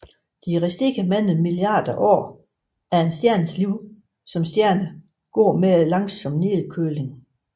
De resterende mange milliarder år af stjernens liv som stjerne går med langsom afkøling